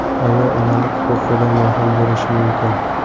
Ayol onalik huquqidan mahrum bo‘lishi mumkin.